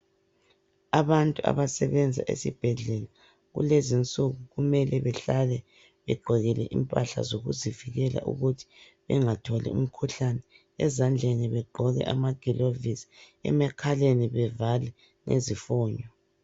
Abantu abasebenza esibhedlela kulezinsuku kumele behlale begqokile impahla zokuzivikela ukuthi bengatholi umkhuhkane, ezandleni begqoke amagilovisi, emakhaleni bevale ngezifoni.